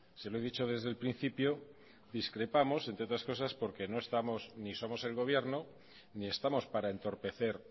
se lo he dicho desde el principio discrepamos entre otras cosas porque no estamos ni somos el gobierno ni estamos para entorpecer